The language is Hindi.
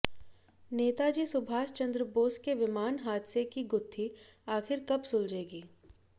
नेताजी सुभाष चंद्र बोस के विमान हादसे की गुत्थी आखिर कब सुलझेगी